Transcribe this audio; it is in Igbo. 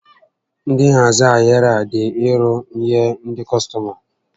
Ndị nhazi ahịrị a dị irò nyé ndị kọstọma